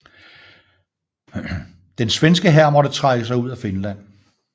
Den svenske hær måtte trække sig ud af Finland